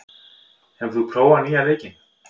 , hefur þú prófað nýja leikinn?